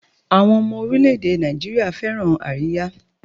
Àwọn ọmọ oríléèdè Nàìjíríà fẹ́ràn àríyá